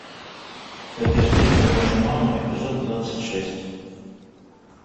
как я встретил вашу маму эпизод двадцать шесть